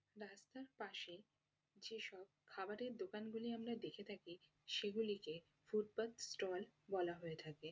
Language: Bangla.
রাস্তার পাশে যেসব খাবারের দোকানগুলি আমরা দেখে থাকি সেগুলিকে ফুটপাত স্টল বলা হয়ে থাকে।